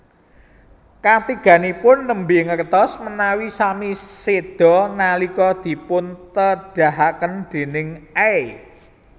Katiganipun nembe ngertos menawi sami sedha nalika dipuntedahaken déning Aey